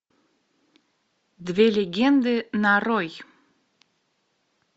две легенды нарой